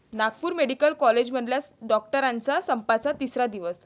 Nagpur medical कॉलेजमधल्या डॉक्टरांच्या संपाचा तिसरा दिवस